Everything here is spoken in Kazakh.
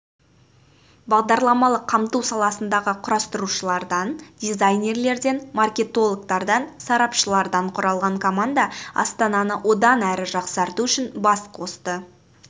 бағдарламалық қамту саласындағы құрастырушылардан дизайнерлерден маркетологтардан сарапшылардан құралған команда астананы одан әрі жақсарту үшін бас қосты